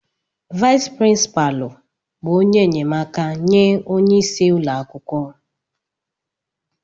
Vais prínpalu bụ ónyé enyemaka nye ónyé ịsị ụlọakwụkwọ.